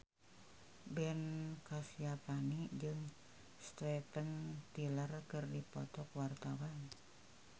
Ben Kasyafani jeung Steven Tyler keur dipoto ku wartawan